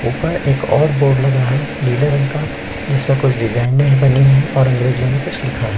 ऊपर एक और बोर्ड लगा है नीले रंग का जिसमे कुछ डिज़ाइने बनी है और अंग्रेजी में कुछ लिखा है।